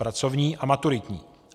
Pracovní a maturitní.